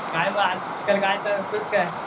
काय मग आजकाल करतोस काय?